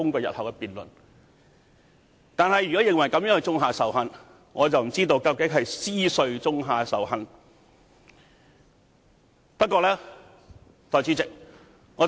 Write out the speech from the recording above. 然而，如果認為這樣做是種下仇恨，我不知道究竟是誰種下仇恨？